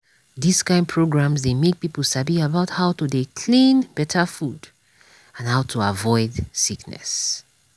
dis kind programs dey make people sabi about how to dey clean better food and how to avoid sickness.